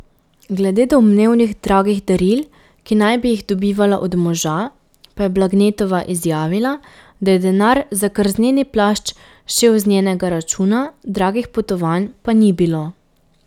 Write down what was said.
Glede domnevnih dragih daril, ki naj bi jih dobivala od moža, pa je Blagnetova izjavila, da je denar za krzneni plašč šel z njenega računa, dragih potovanj pa ni bilo.